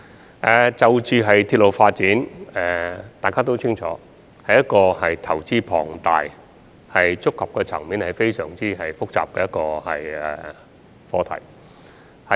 大家也清楚，鐵路發展是一個投資龐大且觸及層面非常複雜的課題。